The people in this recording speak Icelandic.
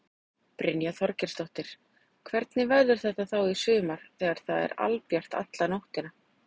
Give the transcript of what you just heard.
Brynja Þorgeirsdóttir: Hvernig verður þetta þá í sumar þegar það er albjart alla nóttina?